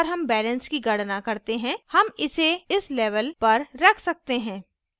एक बार हम balance की गणना करते हैं हम इसे इस level पर रख सकते हैं